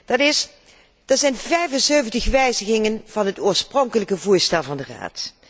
Dat zijn 75 wijzigingen van het oorspronkelijke voorstel van de Raad.